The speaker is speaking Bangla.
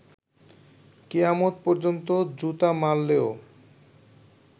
কিয়ামত পর্যন্ত জুতা মারলেও